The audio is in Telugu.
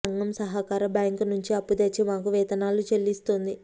సంఘం సహకార బ్యాంకు నుంచి అప్పు తెచ్చి మాకు వేతనాలు చెల్లిస్తోంది